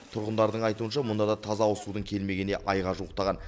тұрғындардың айтуынша мұнда да таза ауызсудың келмегеніне айға жуықтаған